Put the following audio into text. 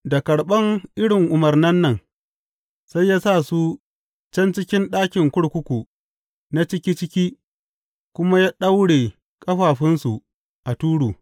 Da karɓan irin umarnan nan, sai ya sa su can cikin ɗakin kurkuku na ciki ciki, kuma ya ɗaura ƙafafunsu a turu.